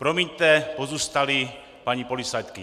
Promiňte, pozůstalí paní policistky.